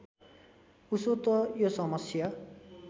उसो त यो समस्या